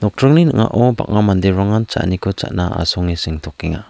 nokdringni ning·ao bang·a manderangan cha·aniko cha·na sengtokenga.